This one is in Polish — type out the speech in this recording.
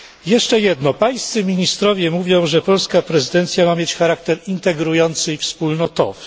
Jeszcze jedno, Pańscy ministrowie mówią, że polska prezydencja ma mieć charakter integrujący i wspólnotowy.